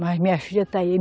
Mas minha filha está aí.